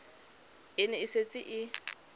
e ne e setse e